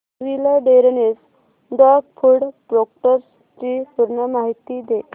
wilderness dog food products ची पूर्ण माहिती दे